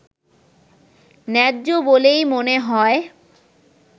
ন্যায্য বলেই মনে হয়